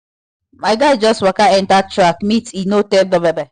my guy just waka enter track meet e no tell me but e carry chop chop come